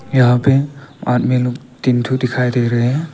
यहां पे आदमी लोग तीन ठो दिखाई दे रहे हैं।